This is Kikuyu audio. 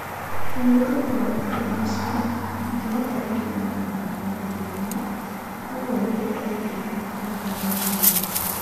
Na nĩ ũndũ wa maũndũ macio, ndingĩhota kũgĩa na wĩra una kigũni", ũguo nĩguo oigire akĩrĩraga maithori.